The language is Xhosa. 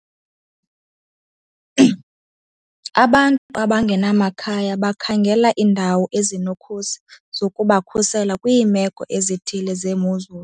Abantu abangenamakhaya bakhangela iindawo ezinokhusi zokubakhusela kwiimeko ezithile zemozulu.